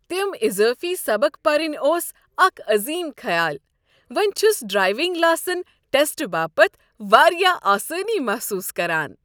تم اضٲفی سبق پرٕنۍ اوس اکھ عظیم خیال! وۄنہِ چھُس ڈرایونگ لاسن ٹیسٹہٕ باپت وارِیاہ آسٲنی محصوٗص كران ۔